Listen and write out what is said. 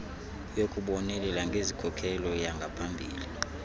yokubonelela ngezikhokelo zangaphakathi